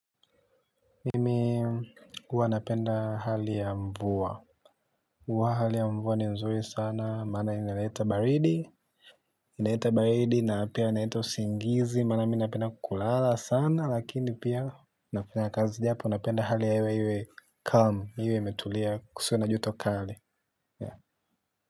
Mimi huwa napenda hali ya mvua. Huwa hali ya mvua ni nzuri sana maana inaleta baridi. Inaleta baridi na pia inaleta usingizi maana mi napenda kulala sana lakini pia nafanya kazi japo napenda hali ya iwe calm iwe imetulia kusiwe na joto kali ya.